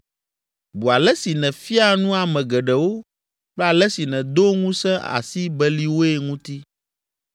Bu ale si nèfia nu ame geɖewo kple ale si nèdo ŋusẽ asi beliwoe ŋuti.